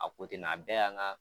A a bɛɛ yan ga